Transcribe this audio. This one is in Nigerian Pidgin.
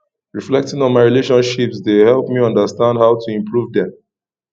reflecting on my relationships dey help me understand how to improve dem